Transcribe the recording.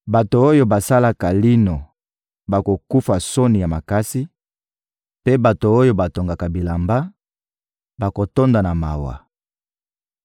Bato oyo basalaka lino bakokufa soni ya makasi, mpe bato oyo batongaka bilamba bakotonda na mawa.